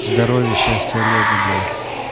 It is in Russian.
здоровья счастья олегу блять